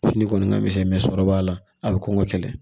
Fini kɔni ka misɛn sɔrɔ b'a la a bɛ kɔnkɔ kɛlɛ